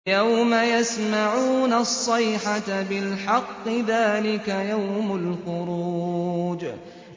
يَوْمَ يَسْمَعُونَ الصَّيْحَةَ بِالْحَقِّ ۚ ذَٰلِكَ يَوْمُ الْخُرُوجِ